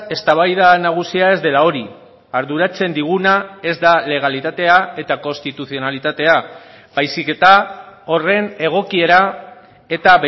eztabaida nagusia ez dela hori arduratzen diguna ez da legalitatea eta konstituzionalitatea baizik eta horren egokiera eta